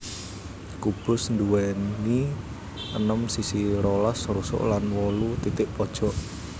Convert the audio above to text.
Kubus nduwèni enem sisi rolas rusuk lan wolu titik pojok